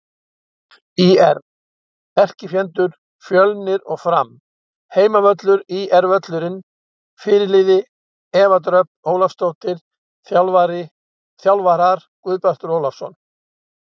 ÍR: Erkifjendur: Fjölnir og Fram Heimavöllur: ÍR-völlurinn Fyrirliði: Eva Dröfn Ólafsdóttir Þjálfarar: Guðbjartur Ólafsson